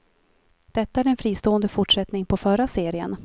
Detta är en fristående fortsättning på förra serien.